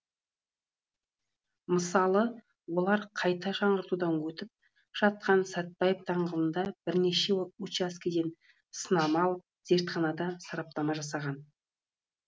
мысалы олар қайта жаңғыртудан өтіп жатқан сәтпаев даңғылында бірнеше учаскіден сынама алып зертханада сараптама жасаған